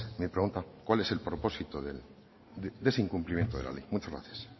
mi pregunta cuál es el propósito de ese incumplimiento de la ley muchas gracias